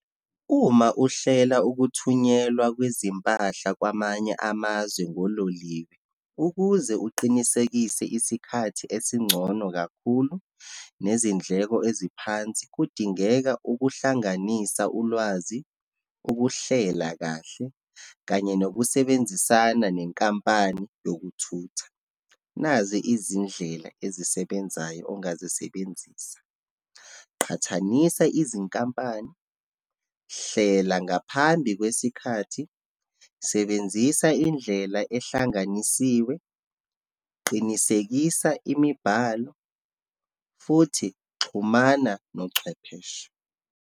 Uma uhlela ukuthunyelwa kwezimpahla kwamanye amazwe ngololiwe, ukuze uqinisekise isikhathi esingcono kakhulu, nezindleko eziphansi, kudingeka ukuhlanganisa ulwazi, ukuhlela kahle, kanye nokusebenzisana nenkampani yokuthutha. Nazi izindlela ezisebenzayo ongazisebenzisa, qhathanisa izinkampani, hlela ngaphambi kwesikhathi, sebenzisa indlela ehlanganisiwe, qinisekisa imibhalo, futhi xhumana nochwepheshe.